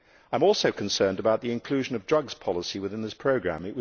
I am also concerned about the inclusion of drugs policy within this programme.